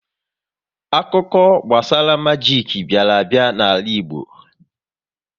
Akụkọ gbasara majik bịara a bịa n'ala Igbo